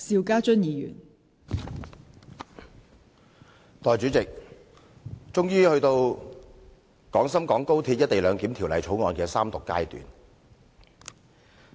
代理主席，終於到了《廣深港高鐵條例草案》的三讀階段。